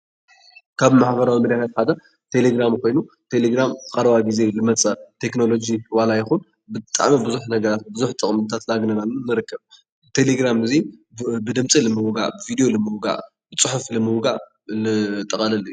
ካብ ማሕበራዊ ሚድያታት ሓደ ቴሌግራም ኮይኑ። ቴሌግራም ኣብ ቀረባ ግዜ ልመፀ ናይ ቴክኖሎጂ ዋላ ይኹን ብጣዕሚ ብዙሕ ነገራት ብዙሕ ጥቕምታት እናግነናሉ ንርከብ። እዚ ቴሌግራም እዙይ ብድምፂ ንምውጋዕ፣ ብቪድዮ ንምውጋዕ፣ ብፅሑፍ ንምውጋዕ ዘጠቓለለ አዩ፡፡